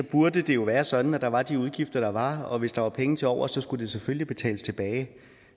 burde det jo være sådan at der var de udgifter der var og hvis der var penge til overs skulle det selvfølgelig betales tilbage